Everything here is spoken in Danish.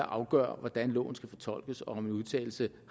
afgøre hvordan loven skal fortolkes og om en udtalelse